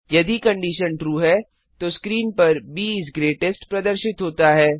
यदि condition true है तो स्क्रीन पर ब इस ग्रेटेस्ट प्रदर्शित होता है